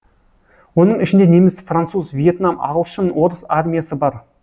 оның ішінде неміс француз въетнам ағылшын орыс армиясы бар